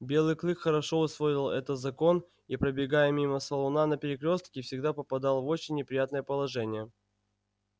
белый клык хорошо усвоил этот закон и пробегая мимо салуна на перекрёстке всегда попадал в очень неприятное положение